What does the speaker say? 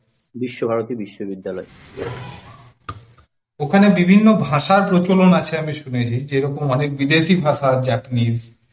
ওখানে বিভিন্ন ভাষার প্রচলন আছে আমি শুনেছি অনেক বিদেশী ভাষা japanese